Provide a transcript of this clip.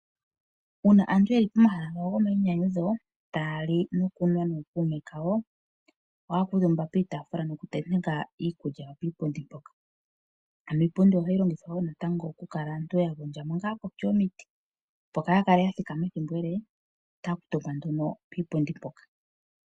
Uuna aantu yeli pomahala gomayinyanyudho tali nokunwa nookuume kawo oha kuutumba kiipundi nokuteneka iikulya yawo mpoka ano iipundi ohayi longithwa wo natango aantu yagondja ngano koshi yomiti opo kayakale yathikama eethimbo ele otakuntumba nduno kiipundi mpoka.